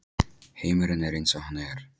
Heimurinn er eins og hann er.